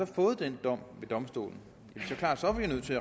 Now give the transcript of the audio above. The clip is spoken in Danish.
fået den dom ved domstolen